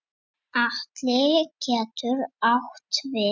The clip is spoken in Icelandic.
Atli getur átt við